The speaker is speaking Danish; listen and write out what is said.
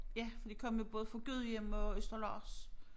Ja for de kom jo både fra Gudhjem og Østerlars